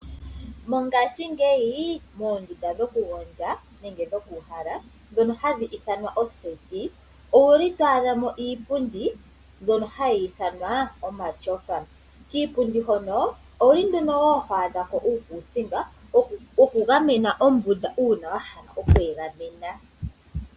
Mongaashingeyi moondunda dhokugondja nenge dhokuuhala dhono hadhi ithanwa ooseti owuli twaadha mo iipundi mbyono hayi ithanwa omatyofa, kiipundi hono owuli twaadha wo uukuusinga wokugamena ombunda uuna wahala okweegamena.